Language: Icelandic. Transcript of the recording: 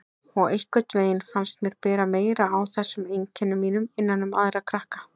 Og einhvern veginn fannst mér bera meira á þessum einkennum mínum innan um aðra krakka.